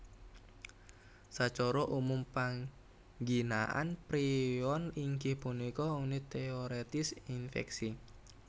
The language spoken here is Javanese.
Sacara umum pangginaan prion inggih punika unit téorètis infèksi